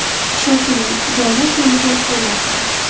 Shoshiling, joylar soni to‘lib bo‘lyapti.